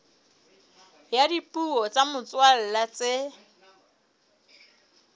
ya dipuo tsa motswalla tse